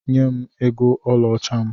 Nyem ego ọlaọcha m!